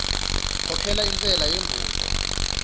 khokhela intshela yembudo